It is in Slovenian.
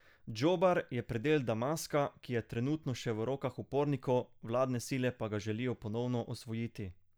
Džobar je predel Damaska, ki je trenutno še v rokah upornikov, vladne sile pa ga želijo ponovno osvojiti.